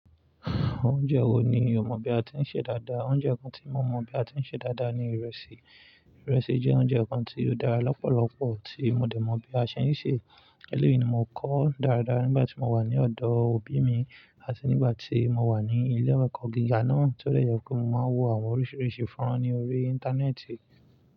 Oúnjẹ wo ni o mọ̀ bí a ti ń ṣe dáadáa? Oúnjẹ kan tí mo mọ̀ bí a ti ń ṣe dáadáa ni ìrẹsì. Ìrẹsì jẹ́ oúnjẹ kan tí ó dára lọ́pọ̀lọ́pọ̀ tí mo dẹ̀ mọ̀ bí a ṣe ń ṣè. Eléyìí ni mo kọ́ dáradára nígbà tí mo wà ní ọ̀dọ̀ òbí mi àti nígbà tí mo wà ní ilé-ẹ̀kọ́ gíga náà, tó lè yọ kó mo máa wo àwọn oríṣiríṣi fọ́nrán ní orí Íńtánẹ́ẹ̀tì.